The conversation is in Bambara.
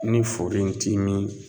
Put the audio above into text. Ni furu in ti min